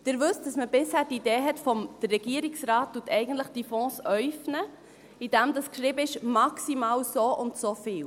Sie wissen, dass man bisher die Idee hatte, dass der Regierungsrat eigentlich diese Fonds äufnet, indem geschrieben ist «maximal soundso viel».